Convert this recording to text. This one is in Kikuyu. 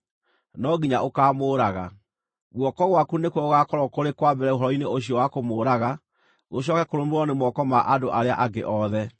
No nginya ũkaamũũraga. Guoko gwaku nĩkuo gũgaakorwo kũrĩ kwa mbere ũhoro-inĩ ũcio wa kũmũũraga, gũcooke kũrũmĩrĩrwo nĩ moko ma andũ arĩa angĩ othe.